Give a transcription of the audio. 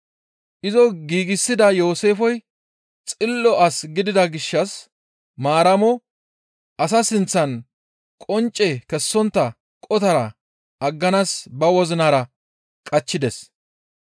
Izo giigsida Yooseefey xillo as gidida gishshas Maaramo asa sinththan qoncce kessontta qotara agganaas ba wozinara qachchides.